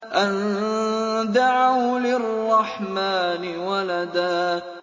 أَن دَعَوْا لِلرَّحْمَٰنِ وَلَدًا